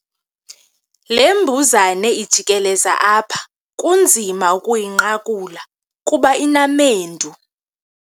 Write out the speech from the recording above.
Le mbuzane ijikeleza apha kunzima ukuyinqakula kuba inamendu.